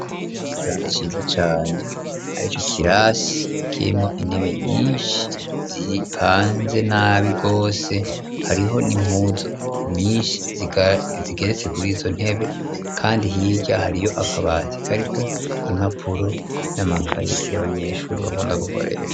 Ikibanza ciza cane arico kirasi kirimwo intebe nyinshi zipanze nabi gose hariho nimpuzu nyinshi zigeretse kuri izo ntebe kandi hibya hariyo akabatika ariko impapuro n'amakayi y'abanyeshuri bakunda gukoresha.